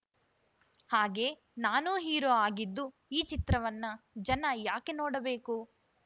ಹಾಗೆ ನಾನು ಹೀರೋ ಆಗಿದ್ದು ಈ ಚಿತ್ರವನ್ನ ಜನ ಯಾಕೆ ನೋಡಬೇಕು